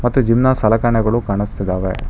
ಮತ್ತು ಜಿಮ್ ನ ಸಲಕರಣೆಗಳು ಕಾಣಿಸ್ತಿದವೆ.